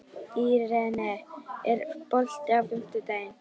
Irene, er bolti á fimmtudaginn?